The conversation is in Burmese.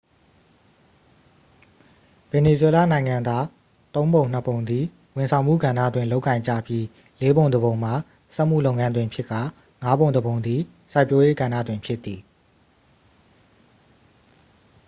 ဗင်နီဇွဲလားနိုင်ငံသား သုံးပုံနှစ်ပုံသည် ဝန်ဆောင်မှုကဏ္ဍတွင် လုပ်ကိုင်ကြပြီး လေးပုံတစ်ပုံမှာ စက်မှုလုပ်ငန်းတွင်ဖြစ်ကာ ငါးပုံတစ်ပုံသည် စိုက်ပျိုးရေးကဏ္ဍတွင် ဖြစ်သည်